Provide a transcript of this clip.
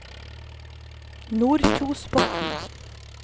Nordkjosbotn